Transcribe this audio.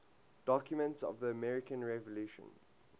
documents of the american revolution